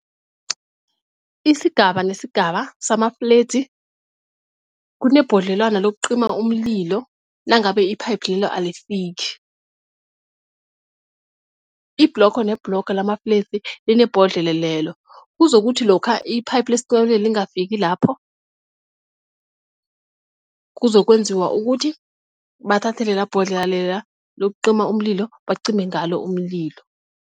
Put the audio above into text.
Isigaba nesigaba sama fledzi kunebhodlelwana lokucima umlilo nangabe iphayiphi lelo alifiki. Ibhlogo nebhlogo lama fledzi linebhodlelo lelo kuzokuthi lokha iphayiphi lesicimamlilo lingafiki lapho, kuzokwenziwa ukuthi bathathe lela bodlela lela lokucima umlilo bacime ngalo umlilo.